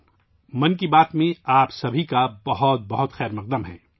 'من کی بات' میں آپ سب کا پرتپاک استقبال